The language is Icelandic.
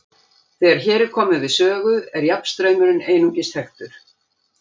Þegar hér er komið við sögu er jafnstraumurinn einungis þekktur.